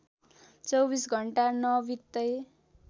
२४ घण्टा नबित्दै